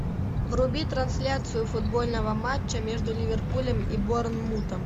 вруби трансляцию футбольного матча между ливерпулем и борнмутом